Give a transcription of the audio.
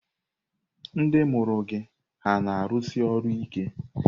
Ndị mụrụ gị hà na-arụsi ọrụ ike?